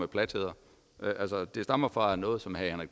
platheder det stammer fra noget som herre